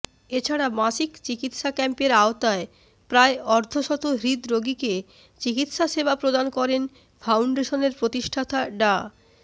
এছাড়া মাসিক চিকিৎসা ক্যাম্পের আওতায় প্রায় অর্ধশত হৃদরোগীকে চিকিৎসা সেবা প্রদান করেন ফাউন্ডেশনের প্রতিষ্ঠাতা ডা